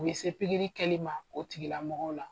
U bɛ se pikiri kɛli ma o tigilamɔgɔw la.